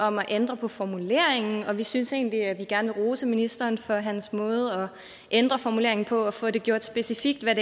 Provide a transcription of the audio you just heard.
om at ændre på formuleringen og vi synes egentlig at vi gerne vil rose ministeren for hans måde at ændre formuleringen på og få det gjort specifikt hvad